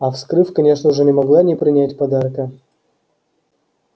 а вскрыв конечно уже не могла не принять подарка